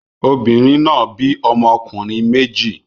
Obìnrin náà bí ọmọkùnrin méjì.